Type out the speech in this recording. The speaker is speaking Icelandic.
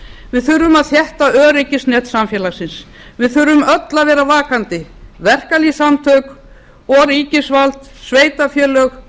við þurfum að þétta öryggisnet samfélagsins við þurfum öll að vera vakandi verkalýðssamtök og ríkisvald sveitarfélög